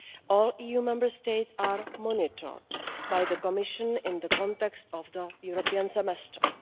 All EU Member States are monitored by the Commission in the context of the European semester.